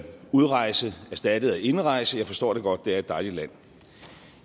udrejse er erstattet af indrejse jeg forstår det godt det er et dejligt land